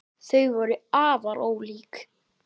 Þau voru afar ólík.